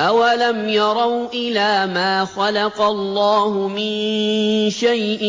أَوَلَمْ يَرَوْا إِلَىٰ مَا خَلَقَ اللَّهُ مِن شَيْءٍ